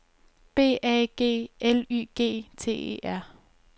B A G L Y G T E R